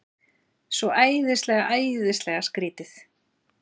Svo æðislega, æðislega skrýtið.